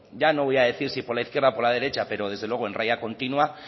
ya no voy a decir si por la izquierda o por la derecha pero desde luego en raya continua